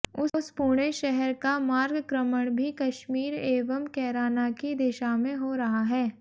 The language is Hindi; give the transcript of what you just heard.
उस पुणे शहर का मार्गक्रमण भी कश्मीर एवं कैराना की दिशा में हो रहा है